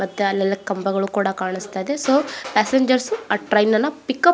ಮತ್ತೆ ಅಲ್ಲೆಲ್ಲ ಕಂಬಗಳೆಲ್ಲ ಕಾನಿಸ್ತಾಇದೆ ಸೊ ಪೆಸೆಂಜ್ರ್ಸ್ ಆಹ್ಹ್ ಟ್ರೈನ್ ಅನ್ನ ಪಿಕಪ್ --